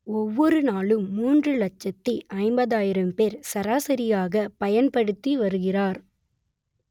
ஒவ்வொரு நாளும் மூன்று லட்சத்தி ஐம்பதாயிரம் பேர் சராசரியாக பயன்படுத்தி வருகிறார்